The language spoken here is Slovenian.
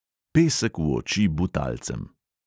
Pesek v oči butalcem!